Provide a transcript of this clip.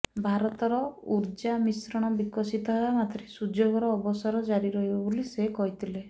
ଭାରତର ଉର୍ଜା ମିଶ୍ରଣ ବିକଶିତ ହେବା ମାତ୍ରେ ସୁଯୋଗର ଅବସର ଜାରି ରହିବ ବୋଲି ସେ କହିଥିଲେ